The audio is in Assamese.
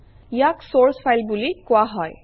ইয়াক চৰ্চ ফাইল বুলি কোৱা হয়